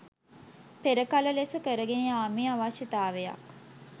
පෙර කල ලෙස කරගෙන යාමේ අවශ්‍යතාවයක්